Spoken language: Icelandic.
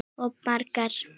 Og margar.